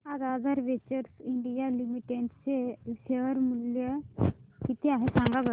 आज Aadhaar Ventures India Limited चे share चे मूल्य किती आहे सांगा बरं